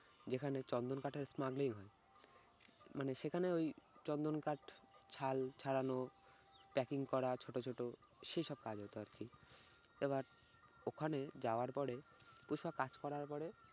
যেখানে চন্দন কাঠের smuggling হয়। মানে সেখানে ওই চন্দন কাঠ ছাল ছাড়ানো packing করা ছোট ছোট সেসব কাজ হতো আর কি। এবার ওখানে যাওয়ার পরে তো সব কাজ করার পরে